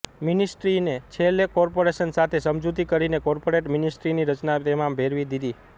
મિનિસ્ટ્રીને છેલ્લે કોર્પોરેશન સાથે સમજૂતિ કરીને કોર્પોરેટ મિનિસ્ટ્રીની રચવા તેમાં ભેળવી દીધી